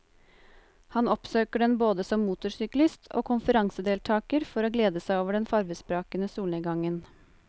Han oppsøker den både som motorsyklist og konferansedeltager for å glede seg over den farvesprakende solnedgangen.